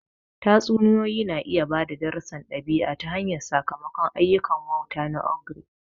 Tatsuniyoyi na iya ba da darussan ɗabi'a ta hanyar sakamakon ayyukan wauta na ogre.